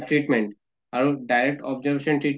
treatment আৰু direct observation treat